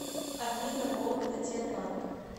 афина вологда тербанк